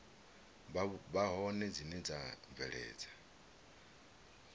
vha hone dzine dza bveledza